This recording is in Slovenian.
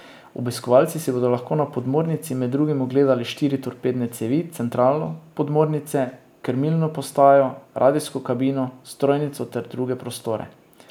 Obiskovalci si bodo lahko na podmornici med drugim ogledali štiri torpedne cevi, centralo podmornice, krmilno postajo, radijsko kabino, strojnico ter druge prostore.